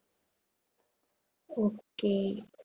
okay